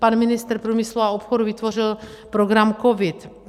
Pan ministr průmyslu a obchodu vytvořil program COVID.